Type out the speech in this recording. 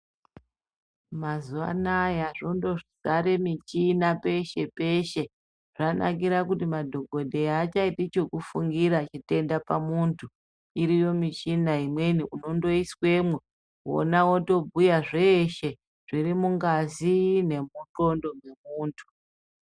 Mazuva anaya zvondodzare michina peshe-peshe. Zvanakira kuti madhokodheya haachaiti chekufungira chitenda pamuntu. Iriyo michina imweni, unondoiswemwo, wona wotobhuya zveshe zviri mungazi nemundxondo dzemuntu.